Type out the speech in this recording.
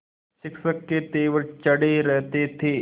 शिक्षक के तेवर चढ़े रहते थे